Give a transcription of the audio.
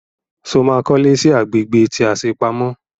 Sọ ma kọ́lé sí agbègbè tí a ṣe pamọ́?